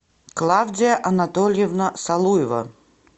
клавдия анатольевна салуева